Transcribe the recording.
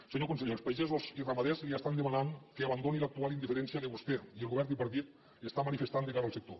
senyor conseller els pagesos i ramaders li estan demanant que abandoni l’actual indiferència que vostè i el govern tripartit estan manifestant de cara al sector